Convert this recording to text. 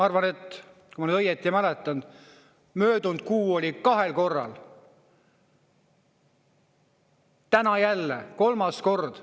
Kui ma nüüd õieti mäletan, siis möödunud kuul oli kahel korral, täna on kolmas kord.